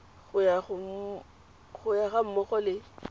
go yona ga mmogo le